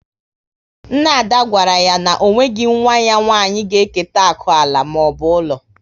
Nna Ada gwara ya na o nweghị nwa ya nwanyị ga eketa akụ ala maọbụ ụlọ